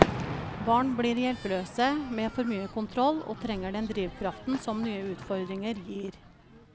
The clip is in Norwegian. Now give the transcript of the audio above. Barn blir hjelpeløse med for mye kontroll og trenger den drivkraften som nye utfordringer gir.